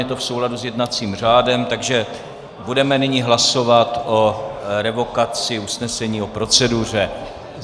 Je to v souladu s jednacím řádem, takže budeme nyní hlasovat o revokaci usnesení o proceduře.